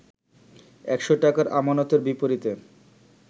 ১০০ টাকার আমানতের বিপরীতে